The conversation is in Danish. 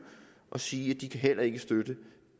og sige at de heller ikke kan støtte